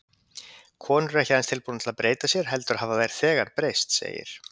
Konur eru ekki aðeins tilbúnar til að breyta sér, heldur hafa þær þegar breyst, segir